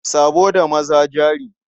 Sabo da maza jari.